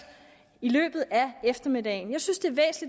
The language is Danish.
i løbet af eftermiddagen jeg synes det